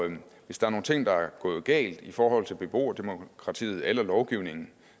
hvis der er nogle ting der er gået galt i forhold til beboerdemokratiet eller lovgivningen